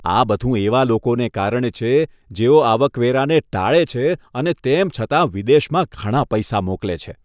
આ બધું એવા લોકોને કારણે છે, જેઓ આવકવેરાને ટાળે છે અને તેમ છતાં વિદેશમાં ઘણા પૈસા મોકલે છે.